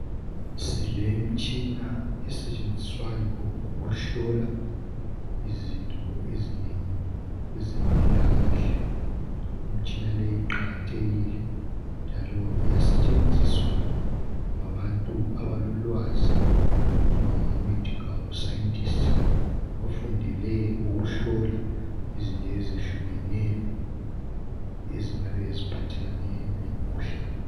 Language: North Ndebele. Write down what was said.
Silemtshina esetshenziswayo ukuhlola izinto ezinengi ezempilakahle. lmitshina leyi iqakathekile, njalo iyasetshenziswa ngabantu abalolwazi. Okuthiwa ngamaMedical scientists. Bafundele ukuhlola izinto ezehlukeneyo, ezingabe ziphathelane lomkhuhlane.